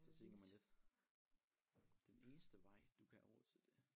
Så tænker man lidt den eneste vej du kan have råd til det